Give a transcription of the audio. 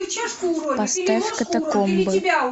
поставь катакомбы